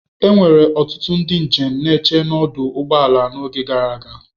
Enwere ọtụtụ ndị njem na-eche n'ọdụ ụgbọ ala n'oge gara aga.